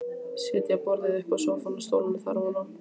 Setja borðið uppá sófann og stólana þar ofaná.